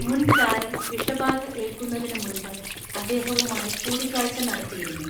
മുൻ ചാരൻ വിഷബാധ ഏൽക്കുന്നതിന് മുൻപ് അദ്ദേഹവുമായി കൂടിക്കാഴ്ച നടത്തിയിരുന്നു